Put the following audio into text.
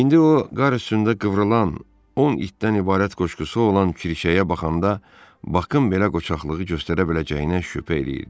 İndi o qar üstündə qıvrılan, 10 itdən ibarət qoşqusu olan kirşəyə baxanda Bakın belə qoçaqlığı göstərə biləcəyinə şübhə eləyirdi.